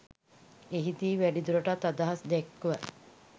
එහිදී වැඩිදුරටත් අදහස් දැක්ව